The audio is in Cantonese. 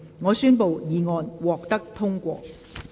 我宣布議案獲得通過。